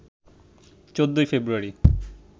১৪ ফেব্রুয়ারি